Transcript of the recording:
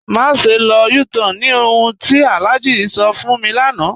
Màṣẹ lọ U-Tan ni ọ̀hun tí Alhaji sọ̀ fún mi lánà.